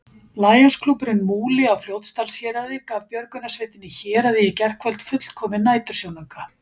Lionsklúbburinn Múli á Fljótsdalshéraði gaf björgunarsveitinni Héraði í gærkvöld fullkominn nætursjónauka.